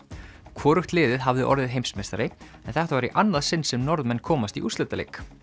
hvorugt liðið hafði orðið heimsmeistari en þetta var í annað sinn sem Norðmenn komast í úrslitaleik